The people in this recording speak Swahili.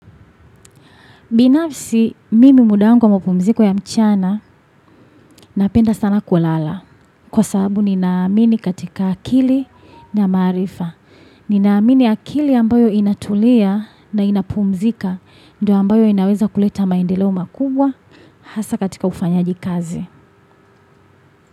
Binafsi mimi muda wangu mpumziko ya mchana napenda sana kulala kwa sababu ninaamini katika akili na maarifa. Ninaamini akili ambayo inatulia na inapumzika ndiyo ambayo inaweza kuleta maendeleo makubwa hasa katika ufanyaji kazi.